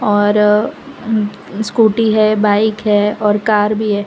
और स्कूटी है बाइक है और कार भी है।